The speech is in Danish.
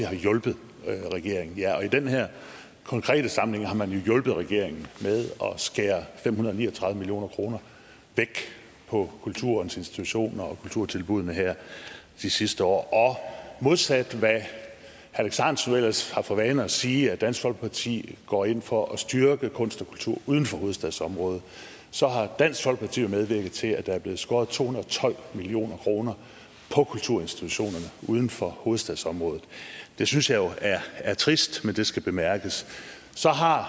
har hjulpet regeringen ja og i den her konkrete sammenhæng har man jo hjulpet regeringen med at skære fem hundrede og ni og tredive million kroner væk på kulturens institutioner og kulturtilbuddene her de sidste år og modsat hvad herre alex ahrendtsen jo ellers har for vane at sige nemlig at dansk folkeparti går ind for at styrke kunst og kultur uden for hovedstadsområdet så har dansk folkeparti medvirket til at der er blevet skåret to hundrede og tolv million kroner på kulturinstitutionerne uden for hovedstadsområdet det synes jeg jo er trist men det skal bemærkes så har